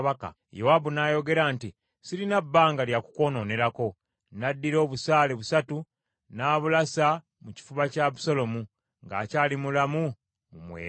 Yowaabu n’ayogera nti, “Sirina bbanga lya kukwonoonerako.” N’addira obusaale busatu n’abulasa mu kifuba kya Abusaalomu ng’akyali mulamu mu mwera.